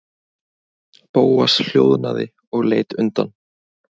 Bóas hljóðnaði og leit undan.